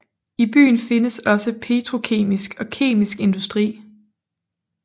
I byen findes også petrokemisk og kemisk industri